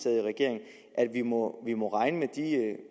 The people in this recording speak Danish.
i regering at vi må må regne med de